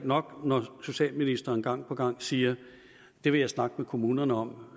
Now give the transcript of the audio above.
nok når socialministeren gang på gang siger det vil jeg snakke med kommunerne om